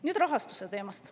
Nüüd rahastuse teemast.